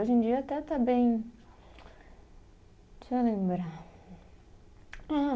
Hoje em dia até está bem. Deixa eu lembrar. Ah